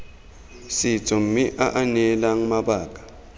setso mme aa neela mabaka